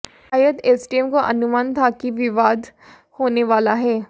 शायद एसडीएम को अनुमान था कि विवाद होने वाला है